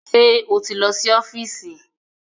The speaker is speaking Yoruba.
Ṣé o ti lọ sí ọ́fíìsì?